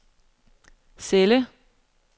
celle